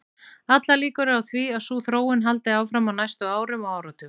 Allar líkur eru á því að sú þróun haldi áfram á næstu árum og áratugum.